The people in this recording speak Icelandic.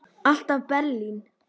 Alltaf Berlín.